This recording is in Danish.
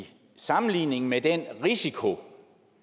sammenligning med den risiko